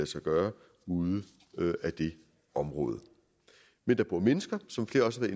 sig gøre ude af det område men der bor mennesker som flere også